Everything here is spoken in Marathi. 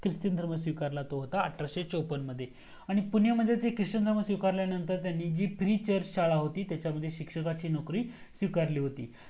ख्रिस्ती धर्म स्वीकारला तो होता अठराशे चोपन्न मध्ये आणि पुण्यामध्ये क्रिसचन धर्म स्वीकारल्या नंतर त्यांनी जी pre church शाळा होती त्याच्यामध्ये शिक्षकाची नोकरी स्वीकारली होती